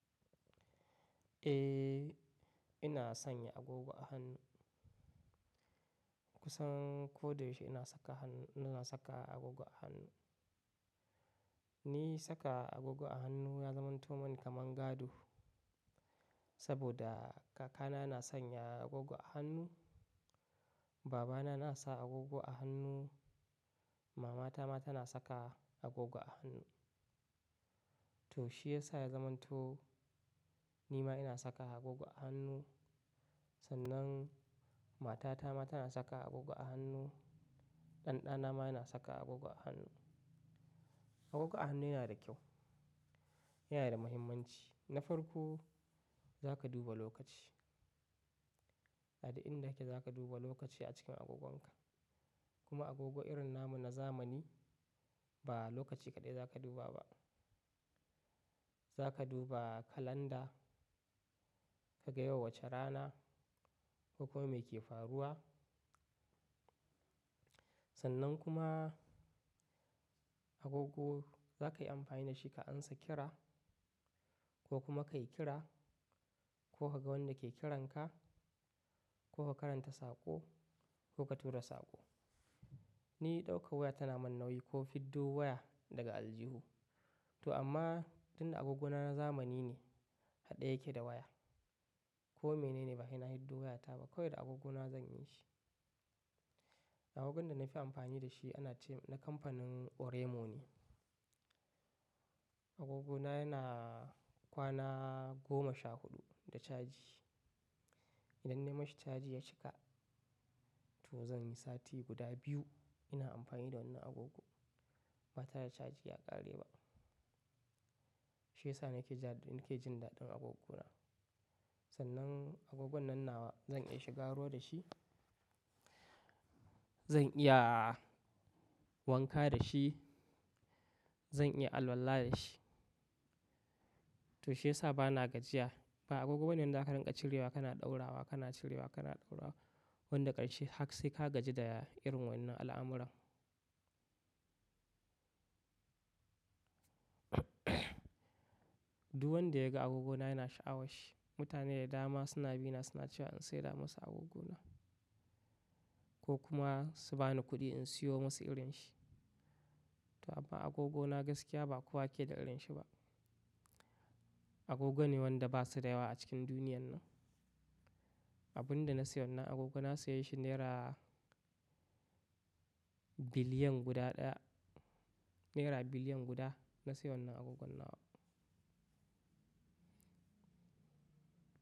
Eh, ina sanya agogo a hannu. Kusan ko da yaushe ina saka hannu, ina saka agogo a hannu. Ni saka agogo a hannu ya zamanto mani kamar gado saboda kakana na sanya agogo a hannu, babana na sa agogo a hannu, mamata ma tana saka agogo a hannu. To shiyasa ya zamanto ni ma ina saka agogo a hannu, sannan matata ma tana saka agogo a hannu, ɗanɗana ma yana saka agogo a hannu. Agogo a hannu yana da kyau, yana da muhimmanci. Na farko, za ka duba lokaci. A duk inda kake za ka duba lokaci a cikin agogonka. Kuma agogo irin na mu na zamani ba lokaci kaɗai za ka duba ba. Za ka duba kalanda, ka ga yau wace rana, ko kuma meke faruwa. Sannan kuma agogo za ka yi amfani da shi ka ansa kira ko kuma ka yi kira ko ka ga wanda ke kiranka ko ka karanta saƙo ko ka tura saƙo. Ni ɗauka waya tana mani nauyi ko fiddo waya daga aljihu. To amma tun da agogona na zamani ne, haɗa yake da waya. Ko menene ba sai na fiddo wayata ba kawai da agogona zan yi shi. Agogon da na fi amfani da shi ana ce na kamfanin Oremo ne. Agogona yana kwana goma sha huɗu da caji. Idan na yi mashi caji ya cika, to zan yi sati guda biyu ina amfani da wannan agogo ba tare da caji ya ƙare ba. Shiyasa nake ja, nake jin daɗin agogona. Sannan agogon nan nawa zan iya shiga ruwa da shi, zan iya wanka da shi, zan iya alwala da shi. To shiyasa ba na gajiya. Ba agogo bane wanda ka rinƙa cirewa kana ɗaurawa kana cirewa kana ɗaura. Wanda ƙarshe hak sai ka gaji da irin wannan al'amuran. Duk wanda ya ga agogona yana sha'awa shi. Mutane da dama suna bina suna cewa in saida musu agogona ko kuma su bani kuɗi in siyo musu irin shi. To amma agogona gaskiya ba kowa ke da irin shi ba. Agogo ne wanda ba su da yawa a cikin duniyan nan. Abun da na sayo nan agogo na saye shi naira biliyan guda ɗaya. Naira biliyan guda na sayo nan agogon nawa.